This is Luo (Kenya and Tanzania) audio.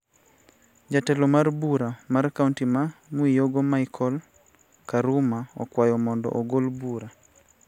Jatelo mar bura mar kaonti ma Mwiyogo micheal karuma okwayo mondo ogol bura